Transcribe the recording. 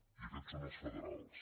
i aquests són els federals